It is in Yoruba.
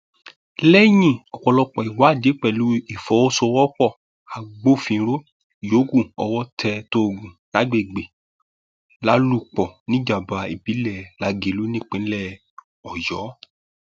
lẹyìn ọpọlọpọ ìwádìí pẹlú ìfọwọsowọpọ agbófinró yòókù owó tẹ tóògùn lágbègbè lálùpọ níjọba ìbílẹ lagelu nípínlẹ ọyọ